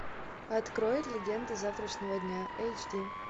открой легенды завтрашнего дня эйч ди